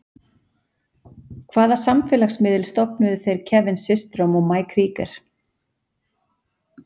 Hvaða samfélagsmiðil stofnuðu þeir Kevin Systrom og Mike Krieger?